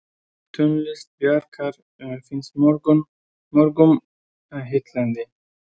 Tónlist Bjarkar finnst mörgum heillandi.